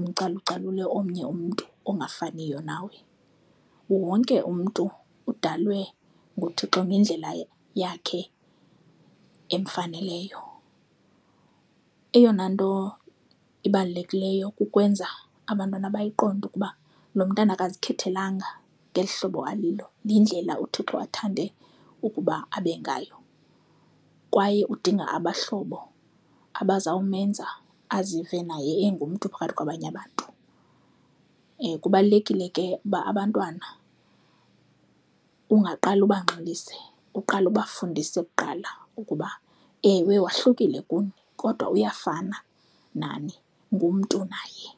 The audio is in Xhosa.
mcalucalule omnye umntu ongafaniyo nawe. Wonke umntu udalwe nguThixo ngendlela yakhe emfaneleyo. Eyona nto ibalulekileyo kukwenza abantwana bayiqonde ukuba lo mntana azikhethelanga ngeli hlobo alilo, yindlela uThixo athande ukuba abe ngayo kwaye udinga abahlobo abazawumenza azive naye engumntu phakathi kwabanye abantu. Kubalulekile ke uba abantwana ungaqale ubangxolisa, uqale ubafundise kuqala ukuba ewe wahlukile kuni kodwa uyafana nani, ngumntu naye.